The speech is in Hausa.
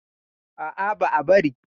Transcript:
A'a, ba a bari.